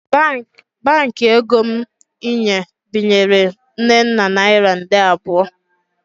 Baankị ego m inye binyere Nnenna naira nde abụọ